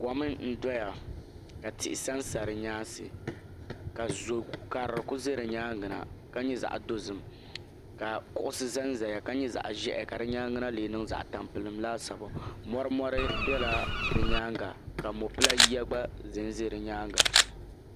Kɔm n dɔya ka tihi sa n sa di nyaansi ka zɔ karili ku za di nyaanga na ka nyɛ zaɣa dozim ka kuɣusi za n zaya ka nyɛ zaɣa ʒiɛhi ka di nyaanga na lee niŋ zaɣa tampilim mɔri mɔri bɛla di nyaanga ka mɔpila yiya gba zɛ n zɛ di nyaanga.